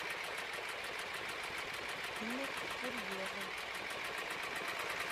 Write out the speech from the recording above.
имя курьера